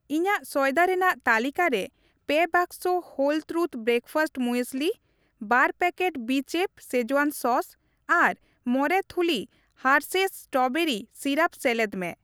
ᱤᱧᱟᱹᱜ ᱥᱚᱭᱫᱟ ᱨᱮᱱᱟᱜ ᱛᱟᱹᱞᱤᱠᱟ ᱨᱮ ᱯᱮ ᱵᱟᱠᱥᱚ ᱦᱳᱞ ᱛᱨᱩᱛᱷ ᱵᱨᱮᱠᱯᱷᱟᱥᱴ ᱢᱩᱭᱮᱥᱞᱤ, ᱵᱟᱨ ᱯᱮᱠᱮᱴ ᱵᱤᱪᱮᱯᱷ ᱥᱮᱡᱣᱟᱱ ᱥᱚᱥ ᱟᱨ ᱢᱚᱲᱮ ᱛᱷᱩᱞᱤ ᱦᱟᱨᱥᱷᱮᱭᱥ ᱥᱴᱨᱚᱵᱮᱨᱤ ᱥᱤᱨᱟᱯ ᱥᱮᱞᱮᱫ ᱢᱮ ᱾